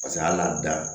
Paseke hal'a dan